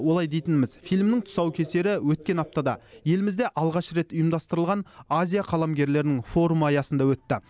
олай дейтініміз фильмнің тұсаукесері өткен аптада елімізде алғаш рет ұйымдастырылған азия қаламгерлерінің форумы аясында өтті